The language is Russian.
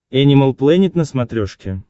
энимал плэнет на смотрешке